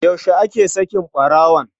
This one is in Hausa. Yaushe ake saki ɓarawon?